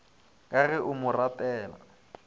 ka ge a mo ratela